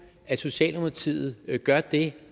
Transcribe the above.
at socialdemokratiet gør det